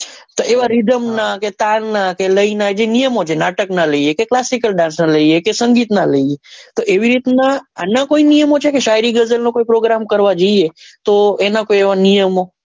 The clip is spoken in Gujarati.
તો એવા rhythm ના કે તાલ નાં કે લય નાં કે classical dance નાં લઈએ કે સંગીત નાં લઈએ તો એવી રીત નાં અન કોઈ એવા નિયમો છે કે શાયરી ગઝલ નો program કરવા જઈએ તો એનો કોઈ એવો નિયમ હોય.